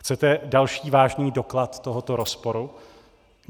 Chcete další vážný doklad tohoto rozporu?